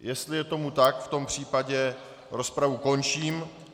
Jestli je tomu tak, v tom případě rozpravu končím.